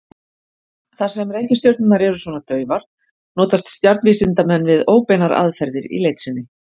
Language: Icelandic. Þar sem reikistjörnurnar eru svona daufar notast stjarnvísindamenn við óbeinar aðferðir í leit sinni.